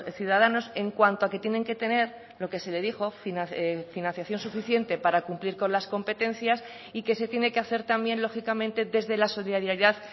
ciudadanos en cuanto a que tienen que tener lo que se le dijo financiación suficiente para cumplir con las competencias y que se tiene que hacer también lógicamente desde la solidaridad